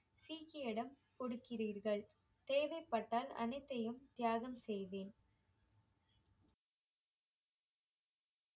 சீக்கியரிடம் கொடுக்கிறீர்கள் தேவைப்பட்டால் அனைத்தையும் தியாகம் செய்வேன்